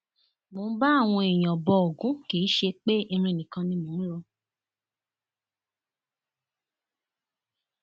mo ń bá àwọn èèyàn bo ògún kì í ṣe pé irin nìkan ni mò ń rò